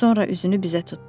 Sonra üzünü bizə tutdu.